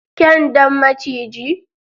kyan Dan maciji.